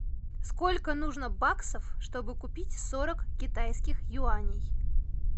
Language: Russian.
сколько нужно баксов чтобы купить сорок китайских юаней